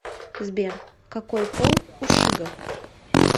сбер какой пол у шиго